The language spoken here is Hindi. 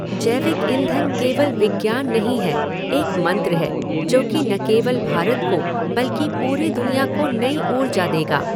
जैविक ईंधन केवल विज्ञान नहीं है, एक मंत्र है जो कि न केवल भारत को बल्कि पूरी दुनिया को नई ऊर्जा देगा।